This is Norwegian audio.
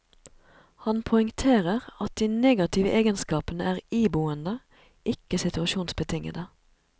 Han poengterer at de negative egenskapene er iboende, ikke situasjonsbetingede.